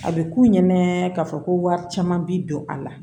A bɛ k'u ɲɛnɛ ka fɔ ko wari caman bi don a la